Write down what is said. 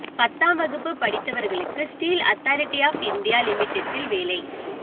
பத்தாம் வகுப்பு படித்தவர்களுக்கு ஸ்டீல் அத்தாரிட்டி ஆஃப் இந்தியா லிமிடெட்டில் வேலை